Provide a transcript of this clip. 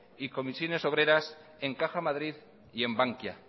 y comisiones obreras en caja madrid y en bankia